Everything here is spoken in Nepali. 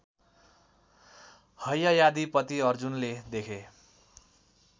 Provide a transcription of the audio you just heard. हैहयाधिपति अर्जुनले देखे